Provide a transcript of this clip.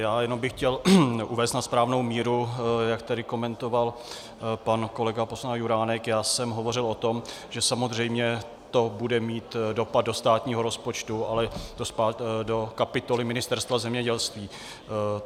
Já jenom bych chtěl uvést na správnou míru, jak tady komentoval pan kolega poslanec Juránek - já jsem hovořil o tom, že samozřejmě to bude mít dopad do státního rozpočtu, ale do kapitoly Ministerstva zemědělství.